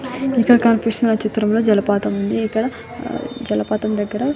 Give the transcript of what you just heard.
ఇక్కడ కనిపిస్తున్న చిత్రం లో జలపాతము ఉంది ఇక్కడ జలపాతం దగ్గర--